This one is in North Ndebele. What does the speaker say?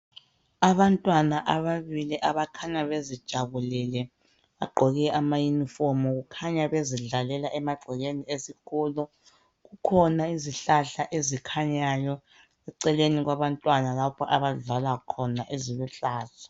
Abantwana ababili abakhanya bezijabulele bagqoke ama unifomu kukhanya bezidllela emagcekeni esikolo kukhona izihlahla ezikhanyayo eceleni kwabantwana lapha abadlala khona eziluhlaza